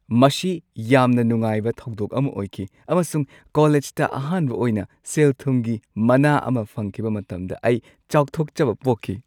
ꯃꯁꯤ ꯌꯥꯝꯅ ꯅꯨꯡꯉꯥꯏꯕ ꯊꯧꯗꯣꯛ ꯑꯃ ꯑꯣꯏꯈꯤ ꯑꯃꯁꯨꯡ ꯀꯣꯂꯦꯖꯇ ꯑꯍꯥꯟꯕ ꯑꯣꯏꯅ ꯁꯦꯜ-ꯊꯨꯝꯒꯤ ꯃꯅꯥ ꯑꯃ ꯐꯪꯈꯤꯕ ꯃꯇꯝꯗ ꯑꯩ ꯆꯥꯎꯊꯣꯛꯆꯕ ꯄꯣꯛꯈꯤ ꯫